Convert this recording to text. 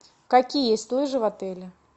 какие есть лыжи в отеле